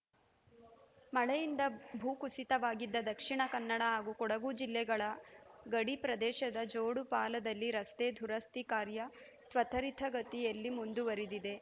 ಮಳೆಯಿಂದ ಭೂಕುಸಿತವಾಗಿದ್ದ ದಕ್ಷಿಣ ಕನ್ನಡ ಹಾಗೂ ಕೊಡಗು ಜಿಲ್ಲೆಗಳ ಗಡಿ ಪ್ರದೇಶದ ಜೋಡುಪಾಲದಲ್ಲಿ ರಸ್ತೆ ದುರಸ್ತಿ ಕಾರ್ಯ ತ್ವರಿತಗತಿಯಲ್ಲಿ ಮುಂದುವರದಿದೆ